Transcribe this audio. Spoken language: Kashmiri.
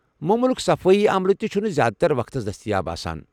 موموٗلُك صفٲیی عملہٕ تہِ چھُنہِ زیٛادٕ تر وقتس دستیاب آسان۔